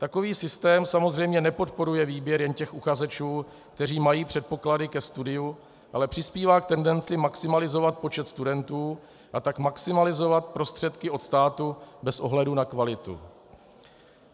Takový systém samozřejmě nepodporuje výběr jen těch uchazečů, kteří mají předpoklady ke studiu, ale přispívá k tendenci maximalizovat počet studentů, a tak maximalizovat prostředky od státu bez ohledu na kvalitu.